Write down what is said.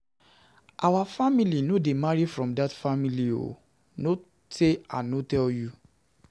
Our family no dey marry from dat family o, no sey I no tell you.